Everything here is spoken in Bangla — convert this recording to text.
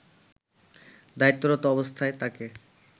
দায়িত্বরত অবস্থায় তাকে